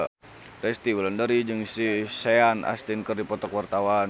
Resty Wulandari jeung Sean Astin keur dipoto ku wartawan